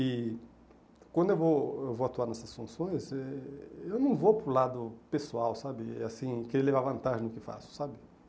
E quando eu vou eu vou atuar nessas funções, eh eu não vou para o lado pessoal, sabe, assim, querendo levar vantagem no que faço, sabe.